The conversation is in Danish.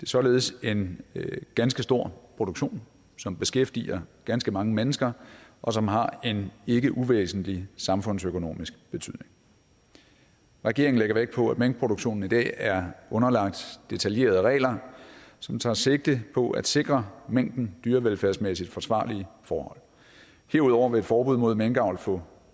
således en ganske stor produktion som beskæftiger ganske mange mennesker og som har en ikke uvæsentlig samfundsøkonomisk betydning regeringen lægger vægt på at minkproduktionen i dag er underlagt detaljerede regler som tager sigte på at sikre minken dyrevelfærdsmæssigt forsvarlige forhold herudover vil et forbud mod minkavl få